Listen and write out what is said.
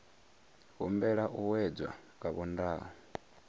humbela u wedzwa nga vhondau